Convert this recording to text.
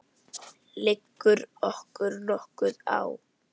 Liggur okkur nokkuð á?